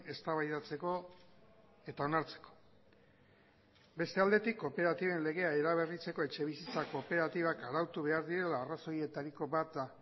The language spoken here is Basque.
eztabaidatzeko eta onartzeko beste aldetik kooperatiben legea eraberritzeko etxebizitza kooperatibak arautu behar direla arrazoietariko bat da